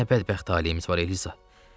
Bizim nə bədbəxt taleyimiz var, Eliza.